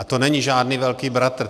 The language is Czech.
A to není žádný velký bratr.